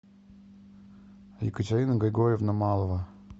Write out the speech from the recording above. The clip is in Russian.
екатерина григорьевна малова